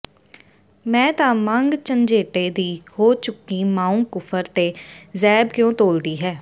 ਮੈਂ ਤਾਂ ਮੰਗ ਰੰਝੇਟੇ ਦੀ ਹੋ ਚੁੱਕੀ ਮਾਂਉਂ ਕੁਫਰ ਤੇ ਜ਼ੈਬ ਕਿਉਂ ਤੋਲਦੀ ਹੈ